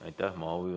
Aitäh!